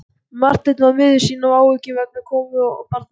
Marteinn var miður sín af áhyggjum vegna konu og barna.